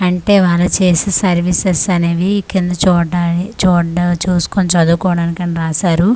అంటే వాళ్ళు చేసే సర్వీసెస్ అనేవి కింద చూడ్డాన్ని చూడ్డ చూసుకొని చదువుకోడానికని రాశారు.